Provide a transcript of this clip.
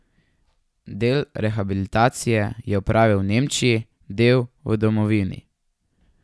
Del rehabilitacije je opravil v Nemčiji, del v domovini.